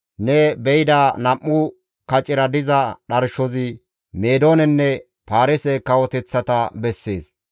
Ne be7ida nam7u kacera diza dharshozi Meedoonenne Paarise kawoteththata bessees.